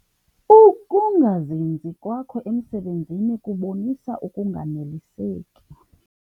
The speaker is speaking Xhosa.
Ukungazinzi kwakho emsebenzini kubonisa ukunganeliseki.